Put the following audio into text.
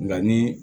Nka ni